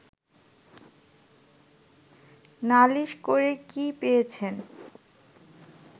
নালিশ করে কি পেয়েছেন